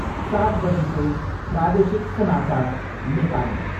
सात बजीको प्रादेशिक समाचार, नेपाली।